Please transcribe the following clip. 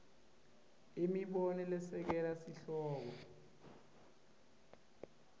imibono lesekela sihloko